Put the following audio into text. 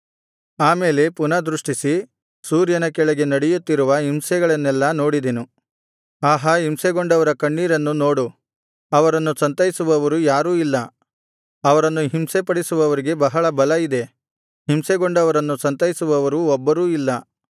ಆ ಮೇಲೆ ಪುನಃ ದೃಷ್ಟಿಸಿ ಸೂರ್ಯನ ಕೆಳಗೆ ನಡೆಯುತ್ತಿರುವ ಹಿಂಸೆಗಳನ್ನೆಲ್ಲಾ ನೋಡಿದೆನು ಆಹಾ ಹಿಂಸೆಗೊಂಡವರ ಕಣ್ಣೀರನ್ನು ನೋಡು ಅವರನ್ನು ಸಂತೈಸುವವರು ಯಾರೂ ಇಲ್ಲ ಅವರನ್ನು ಹಿಂಸಿಸುವವರಿಗೆ ಬಹಳ ಬಲ ಇದೆ ಹಿಂಸೆಗೊಂಡವರನ್ನು ಸಂತೈಸುವವರು ಒಬ್ಬರೂ ಇಲ್ಲ